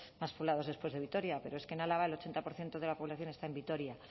más poblados después de vitoria pero es que en álava el ochenta por ciento de la población está en vitoria